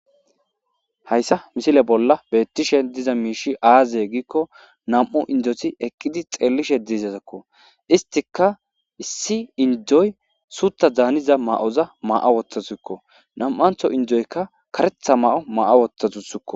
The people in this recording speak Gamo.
Haysa misile bollan betishe diza mish aze gikon nam'u indot eqidi xelishe dizazko istika issi Indoy suta danza mawu'oza mawu'a wotasuko. Nam'anto indoyka mawu'o mawu'a wotasuko.